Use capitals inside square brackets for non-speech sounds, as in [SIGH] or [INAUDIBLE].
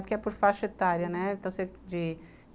Porque é por faixa etária, né? torcer de [UNINTELLIGIBLE]